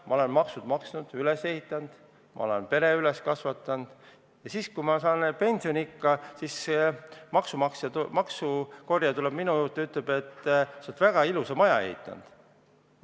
Ma olen maksud maksnud, ma olen lapsed üles kasvatanud ja siis, kui ma olen jõudnud pensioniikka, tuleb maksukorjaja minu juurde ja ütleb, et sa oled väga ilusa maja ehitanud.